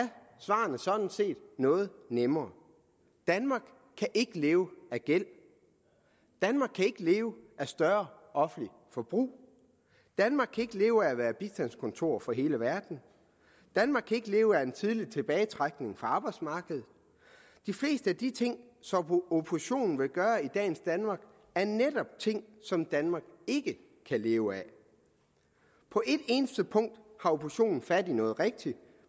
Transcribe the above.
svarene sådan set noget nemmere danmark kan ikke leve af gæld danmark kan ikke leve af større offentligt forbrug danmark kan ikke leve af at være bistandskontor for hele verden danmark kan ikke leve af en tidlig tilbagetrækning fra arbejdsmarkedet de fleste af de ting som oppositionen vil gøre i dagens danmark er netop ting som danmark ikke kan leve af på et eneste punkt har oppositionen fat i noget rigtigt